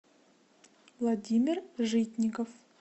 владимир житников